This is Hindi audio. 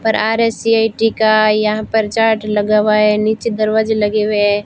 पर आर_एस_सी_आई_टी का यहां पर चार्ट लगा हुआ है नीचे दरवाजे लगे हुए है।